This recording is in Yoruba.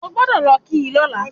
O gbọ́dọ̀ kì í lóla